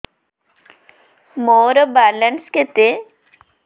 ମୋର ବାଲାନ୍ସ କେତେ